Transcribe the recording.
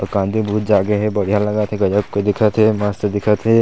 अउ कांदी बहुत जागे हे बढ़िया लगत हे गजब के दिखत हे मस्त दिखत हे।